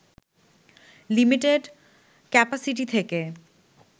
limited capacity থেকে